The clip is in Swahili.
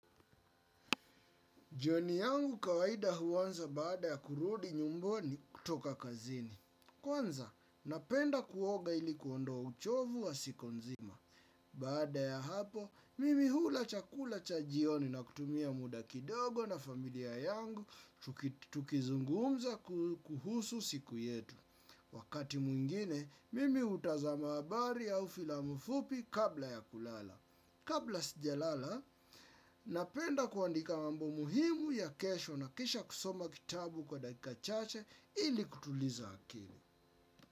Jioni yangu kawaida huanza baada ya kurudi nyumbani kutoka kazini. Kwanza, napenda kuoga ilikuondoa uchovu wa siku nzima. Baada ya hapo, mimi hula chakula chajioni na kutumia muda kidogo na familia yangu tukizungumza kuhusu siku yetu. Wakati mwingine, mimi utazama abari au filamu fupi kabla ya kulala. Kabla sijalala, napenda kuandika mambo muhimu ya kesho na kisha kusoma kitabu kwa daika chache ili kutuliza akili.